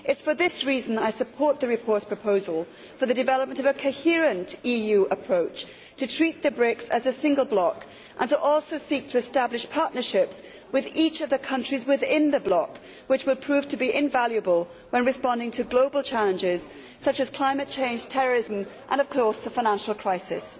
It is for this reason that I support the report's proposal for the development of a coherent EU approach, to treat the BRICS as a single bloc and to also seek to establish partnerships with each of the countries within the bloc, which will prove to be invaluable when responding to global challenges such as climate change, terrorism and, of course, the financial crisis.